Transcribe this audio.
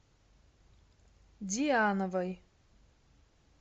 диановой